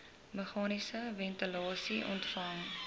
meganiese ventilasie ontwerp